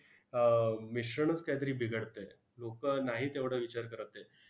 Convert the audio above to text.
आह मिश्रणच काहीतरी बिघडतंय. लोकं नाही तेवढं विचार करत आहेत.